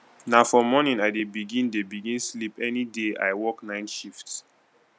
na for morning i dey begin dey begin sleep any day i work night shift